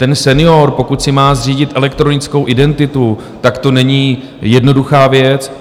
Ten senior, pokud si má zřídit elektronickou identitu, tak to není jednoduchá věc.